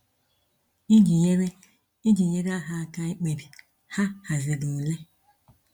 Iji nyere Iji nyere ha aka ikpebi, ha haziri ule.